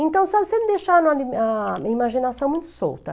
Então, sabe, sempre deixaram minha a a minha imaginação muito solta.